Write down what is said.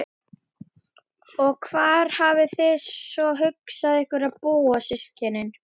Og hvar hafið þið svo hugsað ykkur að búa systkinin?